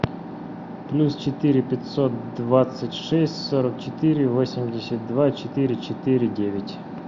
плюс четыре пятьсот двадцать шесть сорок четыре восемьдесят два четыре четыре девять